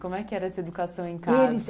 Como é que era essa educação em casa? Eles